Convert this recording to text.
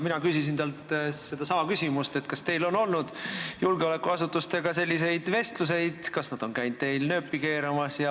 Mina küsisin talt sedasama küsimust, kas tal on olnud julgeolekuasutustega selliseid vestlusi, kas nad on käinud tal nööpi keeramas.